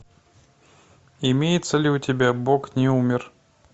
имеется ли у тебя бог не умер